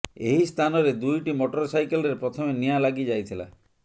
ଏହି ସ୍ଥାନରେ ଦୁଇଟି ମଟର ସାଇକେଲରେ ପ୍ରଥମେ ନିଆଁ ଲାଗିଯାଇଥିଲା